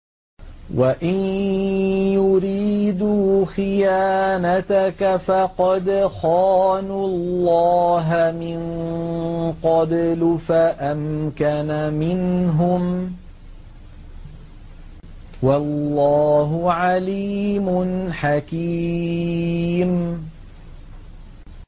وَإِن يُرِيدُوا خِيَانَتَكَ فَقَدْ خَانُوا اللَّهَ مِن قَبْلُ فَأَمْكَنَ مِنْهُمْ ۗ وَاللَّهُ عَلِيمٌ حَكِيمٌ